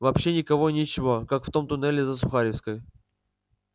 вообще никого и ничего как в том туннеле за сухаревской